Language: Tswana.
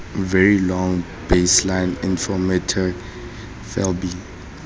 very long baseline interferometry vlbi